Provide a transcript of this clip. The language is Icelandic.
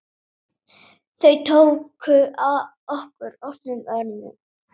Þau tóku okkur opnum örmum.